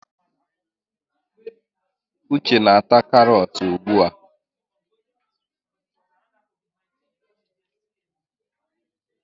Uche na ata karọt ugbu a.